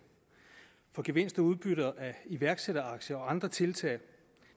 for gevinst og udbytter af iværksætteraktier og andre tiltag